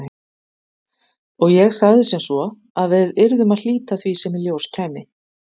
Og ég sagði sem svo að við yrðum að hlíta því sem í ljós kæmi.